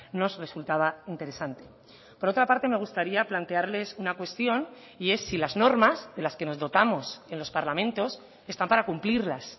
nos resultaba interesante por otra parte me gustaría plantearles una cuestión y es si las normas de las que nos dotamos en los parlamentos están para cumplirlas